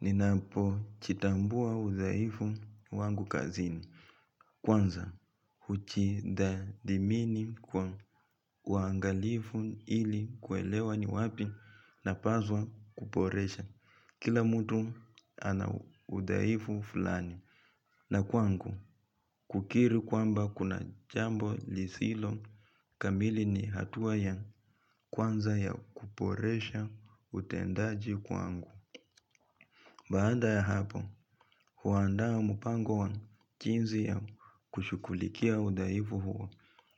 Ninapo jitambua udhaifu wangu kazini kwanza hujitadhimini kwa uangalifu ili kuelewa ni wapi na paswa kuboresha kila mtu ana udhaifu fulani na kwangu kukiri kwamba kuna jambo lisilo kamili ni hatua ya kwanza ya kuboresha utendaji kwangu baada ya hapo, huandaa mpango wa jinsi ya kushughulikia udhaifu huu